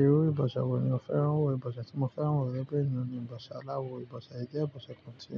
Irú ìbòsè wo ni ó fẹ́ràn wò, ìbòsè tí mo fẹ́ràn wò ní ìbòsè àlá wò. Ìbọ̀ṣẹ̀ yìí jẹ́ ìbọ̀ṣẹ̀ kan tí